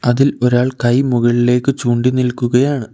അതിൽ ഒരാൾ കൈ മുകളിലേക്ക് ചൂണ്ടി നിൽക്കുകയാണ്.